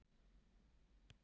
Flekkudal